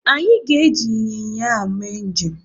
Anyị ga- eji ịnyịnya ahụ mee njem.